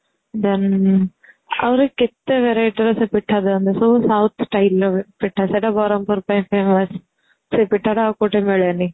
then ଆହୁରି କେତେ variety ର ସେ ପିଠା ଦିଅନ୍ତି ସବୁ South style ର ହୁଏ ପିଠା ସେଟା ବ୍ରହ୍ମପୁର ପାଇଁ famous ସେ ପିଠାଟା ଆଉ କଉଠି ମିଳେନି